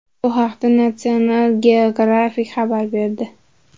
Bu haqda National Geografic xabar berdi .